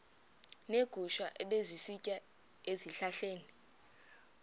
neegusha ebezisitya ezihlahleni